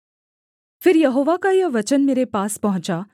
फिर यहोवा का यह वचन मेरे पास पहुँचा